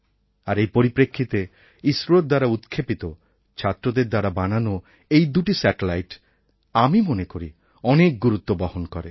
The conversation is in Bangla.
আর এই পরিপ্রেক্ষিতে ইসরো দ্বারা উৎক্ষেপিত ছাত্রদের দ্বারা বানানো এই দুটি স্যাটেলাইট আমি মনে করি অনেক গুরুত্ব বহন করে